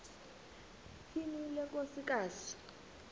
tyhini le nkosikazi